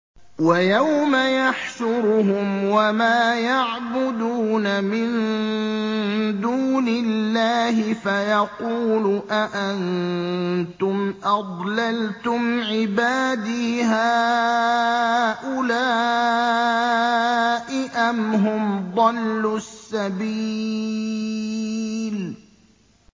وَيَوْمَ يَحْشُرُهُمْ وَمَا يَعْبُدُونَ مِن دُونِ اللَّهِ فَيَقُولُ أَأَنتُمْ أَضْلَلْتُمْ عِبَادِي هَٰؤُلَاءِ أَمْ هُمْ ضَلُّوا السَّبِيلَ